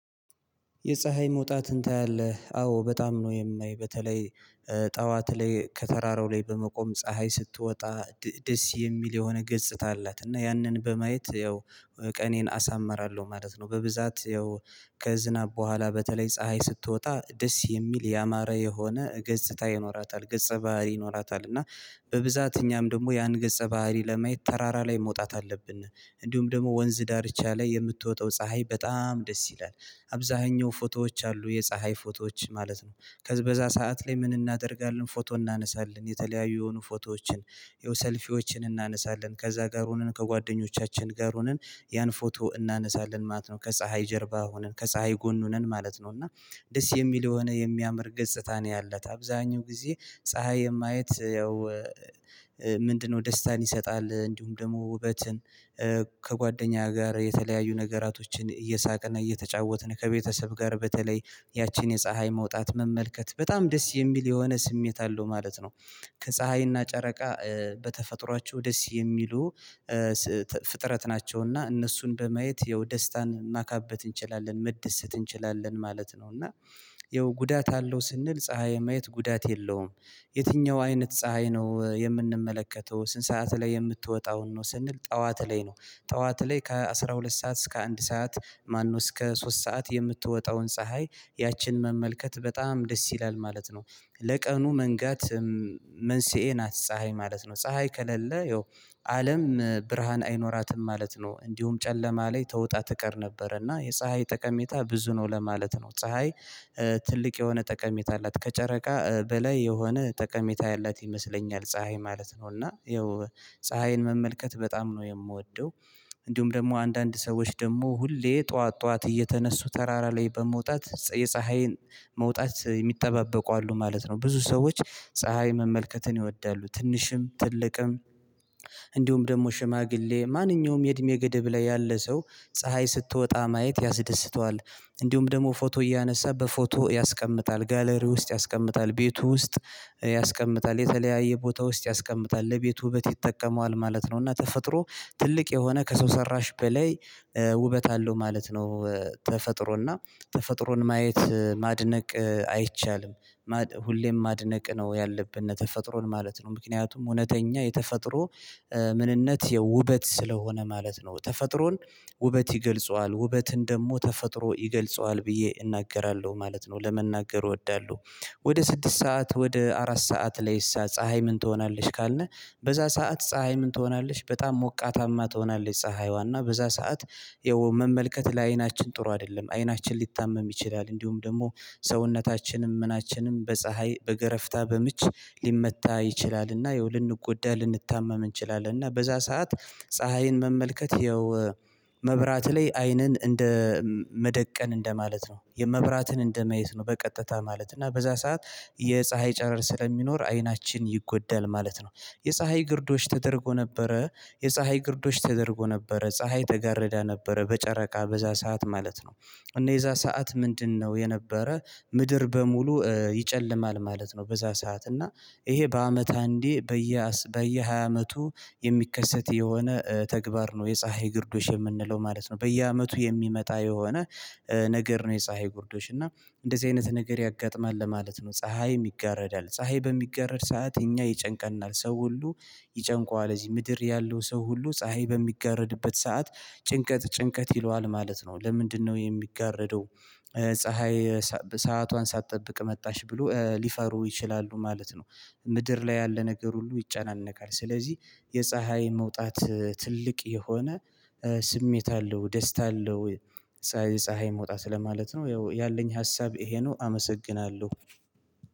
የፀሀይ መውጣትን ታያለህ? አዎ በጣም ነው የማየው በተለይ ጠዋት ላይ ከተራራው ላይ በመቆም ፀሀይ ስትወጣ ደስ የሚል የሆነ ገጽታ አላት እና ያንን በማየት ያው ቀኔን አሳምራለሁ ማለት ነው። በብዛት ያው ከዝናብ በኋላ በተለይ ፀሀይ ስትወጣ ደስ የሚል ያማረ የሆነ ገጽታ ይኖራታል ገጸ ባህሪ ይኖራታል እና በብዛት እኛም ደግሞ ያን ገጸ ባህሪ ለማየት ተራራ ላይ መውጣት አለብን። እንዲሁም ደግሞ ወንዝ ዳርቻ ላይ የምትወጣው ፀሀይ በጣም ደስ ይላል። አብዛኛው ፎቶዎች አሉ የፀሀይ ፎቶዎች ማለት ነው። ከበዛ ሰዓት ላይ ምን እናደርጋለን ፎቶ እናነሳለን የተለያዩ የሆኑ ፎቶዎችን ዮሰልፊዎችን እናነሳለን ከዛ ጋር ሆነን ከጓደኞቻችን ጋር ሆነን ያን ፎቶ እናነሳለን ማለት ነው። ከፀሀይ ጀርባ ሆነን ከፀሀይ ጎን ሁነን ማለት ነው። እና ደስ የሚል የሆነ የሚያምር ገጽታ ነው ያላት አብዛኛው ጊዜ ፀሀይ የማየት ያው ምንድን ነው ደስታን ይሰጣል እንዲሁም ደግሞ ውበትን ከጓደኛ ጋር የተለያዩ ነገራቶችን እየሳቅን እየተጫወትን ከቤተሰብ ጋር በተለይ ያቺን የፀሀይ መውጣት መመልከት በጣም ደስ የሚል የሆነ ስሜት አለው ማለት ነው። ከፀሀይና ጨረቃ በተፈጥሯቸው ደስ የሚሉ ፍጥረት ናቸው እና እነሱን በማየት ያው ደስታን ማካበት እንችላለን መደሰት እንችላለን ማለት ነው። እና ያው ጉዳት አለው ስንል ፀሀይ የማየት ጉዳት የለውም። የትኛው አይነት ፀሀይ ነው የምንመለከተው ስንት ሰዓት ላይ የምትወጣውን ነው ስንል ጠዋት ላይ ነው። ጠዋት ላይ ከአስራ ሁለት ሰዓት እስከ አንድ ሰዓት ማነው እስከ ሶስት ሰዓት የምትወጣውን ፀሀይ ያችን መመልከት በጣም ደስ ይላል ማለት ነው። ለቀኑ መንጋት መንስኤ ናት ፀሀይ ማለት ነው ፀሀይ ከሌለ ያው አለም ብርሃን አይኖራትም ማለት ነው። እንዲሁም ጨለማ ላይ ተውጣ ትቀር ነበር እና የፀሀይ ጠቀሜታ ብዙ ነው ለማለት ነው። ፀሀይ ትልቅ የሆነ ጠቀሜታ አላት ከጨረቃ በላይ የሆነ ጠቀሜታ ያላት ይመስለኛል ፀሀይ ማለት ነው። እና ይኸው ፀሀይን መመልከት በጣም የምወደው እንዲሁም ደግሞ አንዳንድ ሰዎች ደግሞ ሁሌ ጠዋት ጠዋት እየተነሱ ተራራ ላይ በመውጣት የፀሀይን መውጣት ሚጠባበቁ አሉ ማለት ነው። ብዙ ሰዎች ፀሀይ መመልከትን ይወዳሉ ትንሽም ትልቅም እንዲሁም ደግሞ ሽማግሌ ማንኛውም የእድሜ ገደብ ላይ ያለ ሰው ፀሀይ ስትወጣ ማየት ያስደስተዋል። እንዲሁም ደግሞ ፎቶ እያነሳ በፎቶ ያስቀምጣል ጋለሪ ውስጥ ያስቀምጣል ቤቱ ውስጥ ያስቀምጣል የተለያየ ቦታ ውስጥ ያስቀምጣል ለቤቱ ውበት ይጠቀመዋል ማለት ነው። እና ተፈጥሮ ትልቅ የሆነ ከሰው ሰራሽ በላይ ውበት አለው ማለት ነው። ተፈጥሮ እና ተፈጥሮን ማየት ማድነቅ አይቻልም ሁሌም ማድነቅ ነው ያለብነ ተፈጥሮን ማለት ነው። ምክንያቱም እውነተኛ የተፈጥሮ ምንነት ያው ውበት ስለሆነ ማለት ነው። ተፈጥሮን ውበት ይገልጸዋል ውበትን ደግሞ ተፈጥሮ ይገልጸዋል ብዬ እናገራለሁ ማለት ነው። ለመናገር እወዳለሁ። ወደ ስድስት ሰዓት ወደ አራት ሰዓት ላይ እሳ ፀሀይ ምን ትሆናለች ካልነ በዛ ሰዓት ፀሀይ ምን ትሆናለች በጣም ሞቃታማ ትሆናለች። ፀሀይዋ እና በዛ ሰዓት ይኸው መመልከት ለአይናችን ጥሩ አይደለም አይናችን ሊታመም ይችላል እንዲሁም ደግሞ ሰውነታችንም ምናችንም በፀሀይ በገረፍታ በምች ሊመታ ይችላልና ይኸው ልንጎዳ ልንታመም እንችላለን። እና በዛ ሰዓት ፀሀይን መመልከት ይኸው መብራት ላይ አይንን እንደ መደቀን እንደማለት ነው የመብራትን እንደመየት ነው በቀጥታ ማለት እና በዛ ሰዓት የፀሀይ ጨረር ስለሚኖር አይናችን ይጎዳል ማለት ነው። የፀሀይ ግርዶሽ ተደርጎ ነበረ የፀሀይ ግርዶች ተደርጎ ነበረ ፀሀይ ተጋርዳ ነበረ በጨረቃ በዛ ሰዓት ማለት ነው። እና የዛ ሰዓት ምንድን ነው የነበረ ምድር በሙሉ ይጨልማል ማለት ነው። በዛ ሰዓት እና ይሄ በአመት አንዴ በየ በየሃያ አመቱ የሚከሰት የሆነ ተግባር ነው የፀሀይ ግርዶሽ የምንለው ማለት ነው። በየአመቱ የሚመጣ የሆነ ነገር ነው የፀሀይ ጉርዶሽ እና እንደዚህ አይነት ነገር ያጋጥማል ለማለት ነው። ፀሀይም ይጋረዳል ፀሀይ በሚጋረድ ሰዓት እኛ ይጨንቀናል ሰው ሁሉ ይጨንቀዋል እዚህ ምድር ያለው ሰው ሁሉ ፀሀይ በሚጋረድበት ሰዓት ጭንቀት ጭንቀት ይለዋል ማለት ነው። ለምንድነው የሚጋረደው? ፀሀይ ሰአቷን ሳትጠብቅ መጣሽ ብሎ ሊፈሩ ይችላሉ ማለት ነው። ምድር ላይ ያለ ነገር ሁሉ ይጨነቃል ስለዚህ የፀሀይ መውጣት ትልቅ የሆነ ስሜት አለው ደስታ አለው። ፀሀይ መውጣት ለማለት ነው ያለኝ ሀሳብ ይሄ ነው። አመሰግናለሁ።